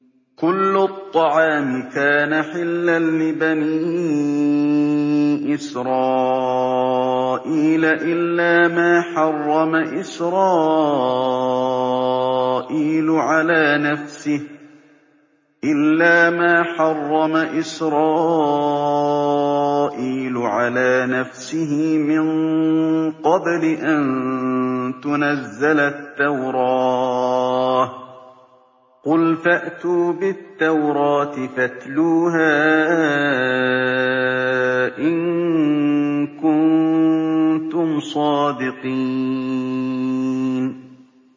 ۞ كُلُّ الطَّعَامِ كَانَ حِلًّا لِّبَنِي إِسْرَائِيلَ إِلَّا مَا حَرَّمَ إِسْرَائِيلُ عَلَىٰ نَفْسِهِ مِن قَبْلِ أَن تُنَزَّلَ التَّوْرَاةُ ۗ قُلْ فَأْتُوا بِالتَّوْرَاةِ فَاتْلُوهَا إِن كُنتُمْ صَادِقِينَ